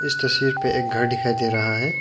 इस तस्वीर पे एक घर दिखाई दे रहा है।